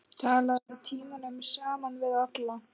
Talaðir tímunum saman við alla.